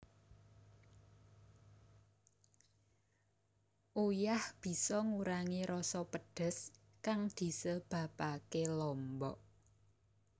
Uyah bisa ngurangi rasa pedhes kang disebabaké lombok